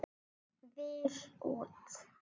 Vill út.